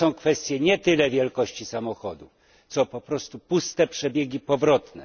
To są kwestie nie tyle wielkości samochodu, co po prostu puste przebiegi powrotne.